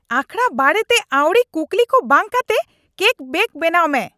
ᱟᱠᱷᱟᱲᱟ ᱵᱟᱨᱮᱛᱮ ᱟᱹᱣᱲᱤ ᱠᱩᱠᱞᱤ ᱠᱚ ᱵᱟᱝ ᱠᱟᱛᱮ ᱠᱮᱠ ᱵᱮᱠ ᱵᱮᱱᱟᱣ ᱢᱮ ᱾